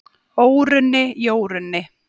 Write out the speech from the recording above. Órunni, Jórunni,